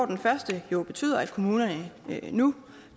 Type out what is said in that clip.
den første jo betyder at kommunerne nu